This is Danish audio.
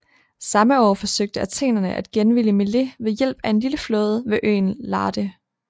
Samme år forsøgte athenerne at genvinde Milet ved hjælp af en lille flåde ved øen Lade